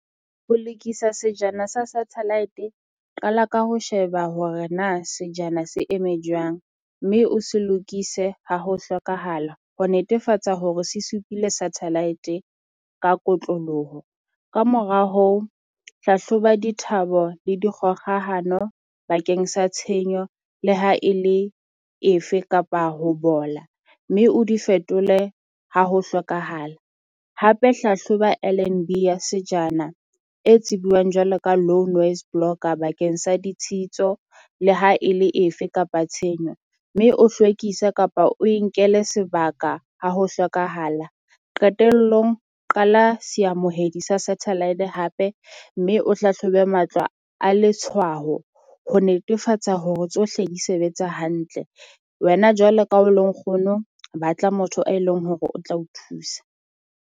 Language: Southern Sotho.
Ho lokisa sejana se satellite, qala ka ho sheba hore na sejana se eme jwang mme o se lokise ha ho hlokahala ho netefatsa hore se supile satellite e ka kotloloho. Kamora hoo, hlahloba dithabo bo le dikgohahano bakeng sa tshenyo le ha e le efe kapa ho bola, mme o di fetole ha ho hlokahala. Hape hlahloba L_N_B ya sejana e tsibuwang jwalo ka low noise blogger bakeng sa ditshitso le ha e le efe kapa tshenyo. Mme o hlwekisa kapa oe nkele sebaka ha ho hlokahala. Qetellong qala seamohedi sa satelite hape mme o hlahlobe matlwa a letshwaho ho netefatsa hore tsohle di sebetsa hantle. Wena jwalo ka o le nkgono, ba tla motho e leng hore o tla o thusa.